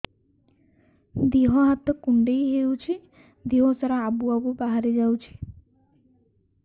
ଦିହ ହାତ କୁଣ୍ଡେଇ ହଉଛି ଦିହ ସାରା ଆବୁ ଆବୁ ବାହାରି ଯାଉଛି